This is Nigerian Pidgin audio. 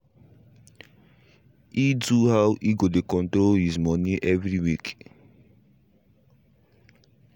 he do how he go dey control his money every week